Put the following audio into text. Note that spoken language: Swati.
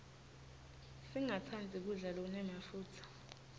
singastandzi kudla lokunemafutsa